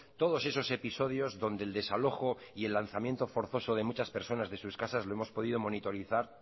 todos esos episodios donde el desalojo y el lanzamiento forzoso de muchas personas de sus casas lo hemos podido monitorizar